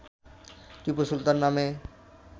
টিপু সুলতান নামে